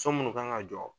So munnu kan ka jɔ